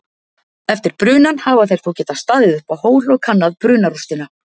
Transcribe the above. Eftir brunann hafa þeir þó getað staðið uppá hól og kannað brunarústina.